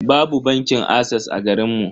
Babu bankin ases a garinmu.